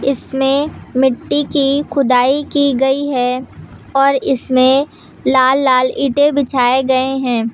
इसमें मिट्टी की खुदाई की गई है और इसमें लाल लाल ईंटे बिछाए गए हैं।